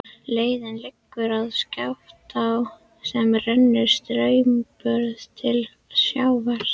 Leiðin liggur að Skaftá sem rennur straumhörð til sjávar.